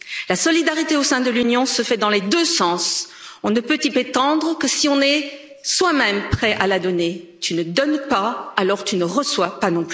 La solidarité au sein de l'Union se fait dans les deux sens on ne peut y prétendre que si on est soi même prêt à la donner tu ne donnes pas, alors tu ne reçois pas